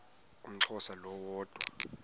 umxhosa lo woda